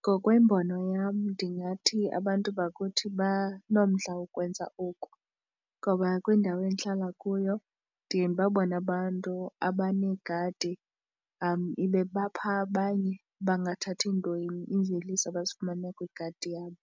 Ngokwembono yam ndingathi abantu bakuthi banomdla wokwenza oku ngoba kwindawo endihlala kuyo ndiye ndibabone abantu abaneegadi bephaa abanye abangathathi ntweni iimveliso abazifumana kwigadi yabo